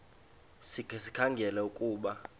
sikhe sikhangele ukuba